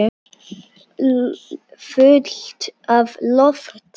Fullt af lofti.